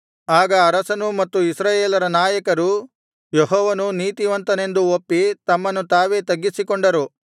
ಆಗ ಅರಸನೂ ಮತ್ತು ಇಸ್ರಾಯೇಲರ ನಾಯಕರೂ ಯೆಹೋವನು ನೀತಿವಂತನೆಂದು ಒಪ್ಪಿ ತಮ್ಮನ್ನು ತಾವೇ ತಗ್ಗಿಸಿಕೊಂಡರು